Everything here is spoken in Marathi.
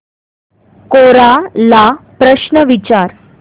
कोरा ला प्रश्न विचार